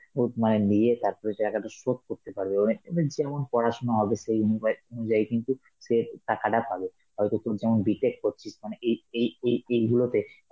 would মানে নিয়ে তারপরে টাকাটা শোধ করতে পারবো মানে~ মানে যেমন পড়াশোনা হবে সেই অনুভয়~ অনুযায়ী, কিন্তু সে টাকাটা পাবে, হয়তো তুই যেমন B.tech করছিস মানে এই এই এই~ এইগুলোতে